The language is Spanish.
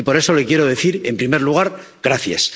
Y por eso le quiero decir, en primer lugar, gracias.